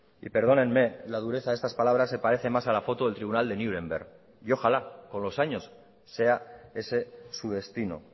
y perdónenme la dureza de estas palabras se parece más a la foto del tribunal de nuremberg y ojalá con los años sea ese su destino